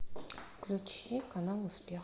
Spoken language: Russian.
включи канал успех